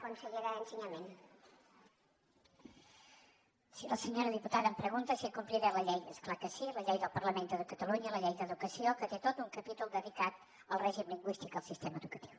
sí la senyora diputada em pregunta si compliré la llei és clar que sí la llei del parlament de catalunya la llei d’educació que té tot un capítol dedicat al règim lingüístic en el sistema educatiu